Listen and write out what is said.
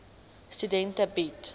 studente bied